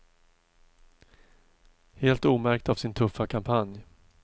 Helt omärkt av sin tuffa kampanj.